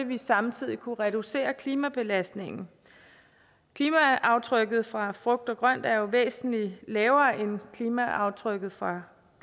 vi samtidig kunne reducere klimabelastningen klimaaftrykket fra frugt og grønt er jo væsentlig lavere end klimaaftrykket fra